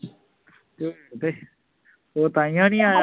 ਉਹ ਤਾਹੀਓਂ ਨਹੀਂ ਆਇਆ